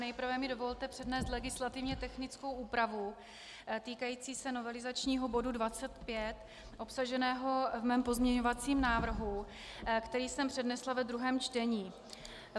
Nejprve mi dovolte přednést legislativně technickou úpravu týkající se novelizačního bodu 25 obsaženého v mém pozměňovacím návrhu, který jsem přednesla ve druhém čtení.